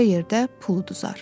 başqa yerdə pul udar.